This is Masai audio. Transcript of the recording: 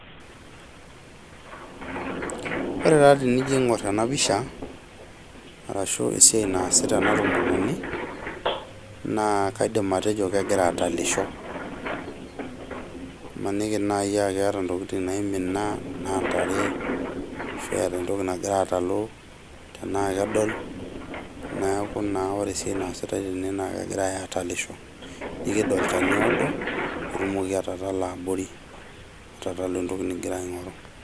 Ore taa tenijo aingor ena pisha arashu esiai naasita ena tomononi naa kaidim atejo kegira atalisho , mmaniki nai aa keeta ntokitin naimina anaa ntare ashu eeta entoki nagira atalu tenaa kedol , niaku naa ore esiai naasitae tene naa kegirae atalisho , iked olchani oodo pitumoki atatala abori , atatalu entoki ningira aingoru.